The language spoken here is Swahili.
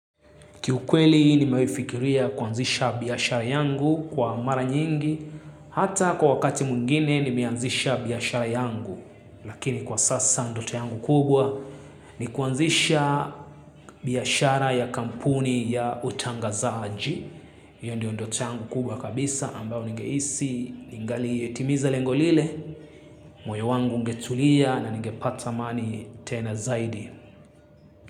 Kiukweli nimewahifikiria kuanzisha biashara yangu kwa mara nyingi, hata kwa wakati mwngine nimeanzisha biashara yangu, lakini kwa sasa ndoto yangu kubwa ni kuanzisha biashara ya kampuni ya utangazaji. Iyo ndio ndoto yangu kubwa kabisa ambao nigehisi, ningali yetimiza lengo lile, moyo wangu ungetulia na ningepata mali tena zaidi.